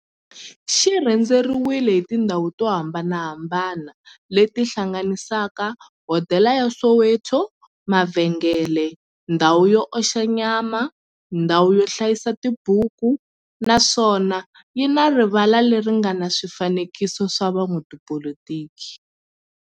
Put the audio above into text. xi rhendzeriwile hi tindhawu to hambanahambana le ti hlanganisaka, hodela ya Soweto-mavhengele-ndhawu yo oxa nyama-ndhawu yo hlayisa tibuku, naswona yi na rivala le ri nga na swifanekiso swa vo n'watipolitiki.